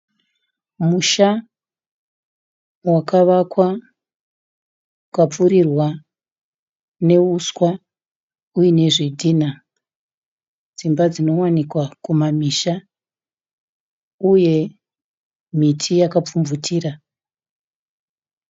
Musha wakavakwa ukapfirirwa neuswa uine zvidhinha. Dzimba dzinowanikwa kumamisha uye miti yaka pfumvutira.